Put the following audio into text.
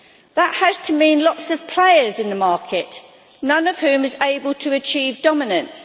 That has to mean lots of players in the market, none of whom is able to achieve dominance.